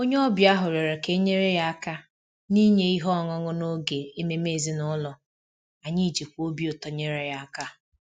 Onye ọbịa ahụ rịọrọ ka e nyere ya aka n’inye ihe ọṅụṅụ n’oge ememe ezinụlọ, anyị jikwa obi ụtọ nyere aka